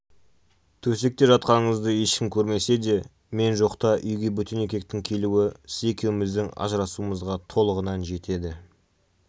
төсекте жатқаныңызды ешкім көрмесе де мен жоқта үйге бөтен еркектің келуі сіз екеуіміздің ажырасуымызға толығынан жетеді